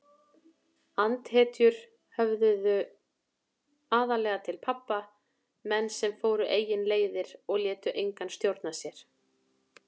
Andhetjur höfðuðu aðallega til pabba, menn sem fóru eigin leiðir og létu engan stjórna sér.